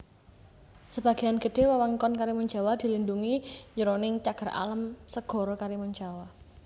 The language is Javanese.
Sebagéan gedhé wewengkon Karimunjawa dilindhungi jroning Cagar Alam Segara Karimunjawa